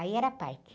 Aí era parque.